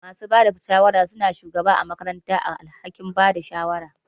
Masu bada shawara suna shugaba ã makaranta da alhakin Bada shawara